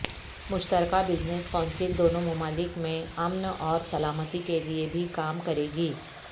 مشترکہ business council دونوں ممالک میں امن اور سلامتی کے لیے بھی کام کرے گی